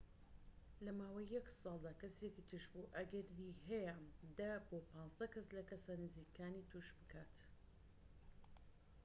لە ماوەی یەك ساڵدا، کەسێکی توشبوو ئەگەری هەیە ١٠ بۆ ١٥ کەس لە کەسە نزیکەکانی توش بکات